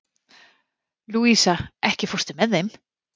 Louisa, ekki fórstu með þeim?